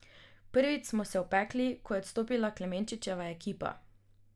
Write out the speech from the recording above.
Prvič smo se opekli, ko je odstopila Klemenčičeva ekipa.